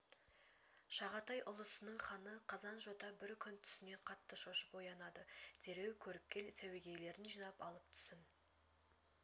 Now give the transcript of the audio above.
шағатай ұлысының ханы қазан-жота бір күн түсінен қатты шошып оянады дереу көріпкел сәуегейлерін жинап алып түсін